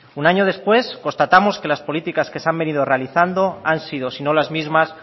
un año después constatamos que las políticas que se han venido realizando han sido sino las mismas